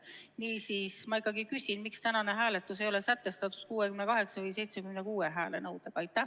Niisiis ma ikkagi küsin: miks tänane hääletus ei ole sätestatud kui 68 või 76 häält nõudev?